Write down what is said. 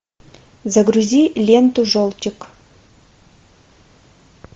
загрузи ленту желтик